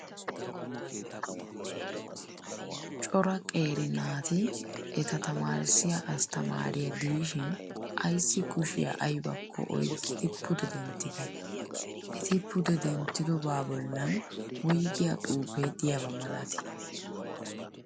Cora qeeri naati eta tamaarissiya asttamaariya diishinayissi kushiyaa ayibakko oyikkidi pude denttideee? Eti pude denttidoba bollan woyigiyaa xuupee diyaba malatii?